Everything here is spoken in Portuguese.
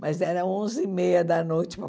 Mas era onze e meia da noite.